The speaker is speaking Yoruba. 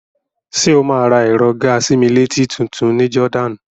Ṣé o máa ra ẹ̀rọ gàa-sí-mí-létí tutun ní Jordan?